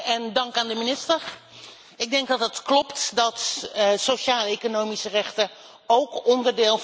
Het klopt dat sociaaleconomische rechten ook onderdeel vormen van de mensenrechten.